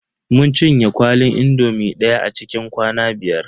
Mun cinye kwalin indomi daya a cikin kwana biyar.